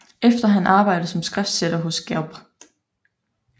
Efter han arbejdede som skriftsætter hos Gebr